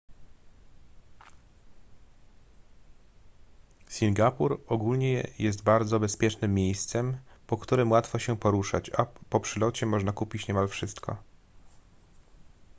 singapur ogólnie jest bardzo bezpiecznym miejscem po którym łatwo się poruszać a po przylocie można kupić niemal wszystko